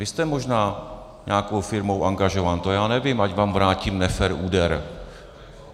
Vy jste možná nějakou firmou angažován, to já nevím, ať vám vrátím nefér úder.